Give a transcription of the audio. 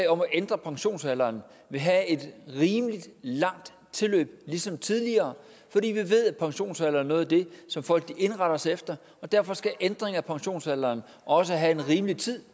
ændre pensionsalderen vil have et rimelig langt tilløb ligesom tidligere fordi vi ved at pensionsalder er noget af det som folk indretter sig efter og derfor skal ændring af pensionsalderen også have en rimelig tid